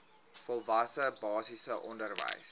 volwasse basiese onderwys